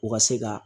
U ka se ka